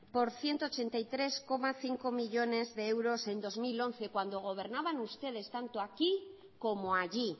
por ciento ochenta y tres coma cinco millónes de euros en dos mil once cuando gobernaban ustedes tanto aquí como allí